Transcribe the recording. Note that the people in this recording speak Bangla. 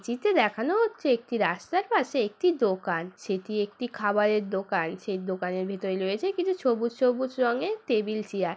জিতে দেখানো হচ্ছে একটি রাস্তার পাশে একতি দোকান। সেটি একতি খাবায়ের দোকান। সেই দোকানের ভিতলে লয়েছে কিছু সবুজ সবুজ রঙের টেবিল চেয়ার ।